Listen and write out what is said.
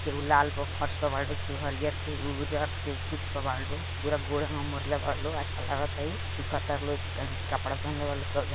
केहू लाल पर फर्श पर बारू तोहार हरियर के उज्जर के कुछ पे बारू पूरा गोरे में मोर्ले बारू लोग अच्छा लागत हई सीखता लो ए कपड़ा पहेनले बानू सब जा--